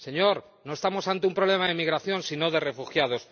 Señor, no estamos ante un problema de emigración sino de refugiados.